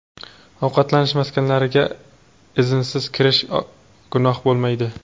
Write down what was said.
ovqatlanish maskanlariga) iznsiz kirish gunoh bo‘lmaydi.